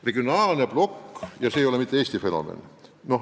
Regionaalne plokk – ja see ei ole mitte Eesti fenomen.